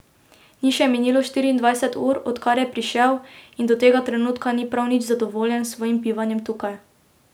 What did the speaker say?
Ni še minilo štiriindvajset ur, odkar je prišel, in do tega trenutka ni prav nič nezadovoljen s svojim bivanjem tukaj.